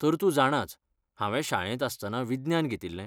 तर तूं जाणाच, हांवें शाळेंत आसतना विज्ञान घेतिल्लें?